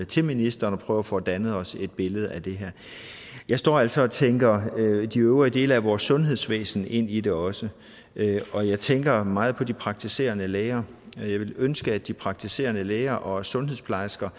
til ministeren og prøve at få dannet os et billede af det her jeg står altså og tænker de øvrige dele af vores sundhedsvæsen ind i det også og jeg tænker meget på de praktiserende læger jeg ville ønske at de praktiserende læger og sundhedsplejersker